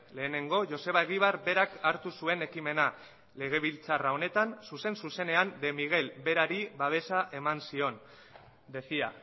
lehenengo joseba egibar berak hartu zuen ekimena legebiltzar honetan zuzen zuzenean de miguel berari babesa eman zion decía